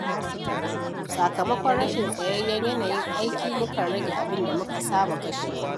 Sakamakon rashin tsayayyen yanayin aiki, mukan rage abin da muka saba kashewa.